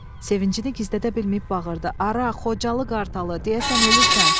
Sevincini gizlədə bilməyib bağırdı: Ara, Xocalı qartalı, deyəsən ölürsən.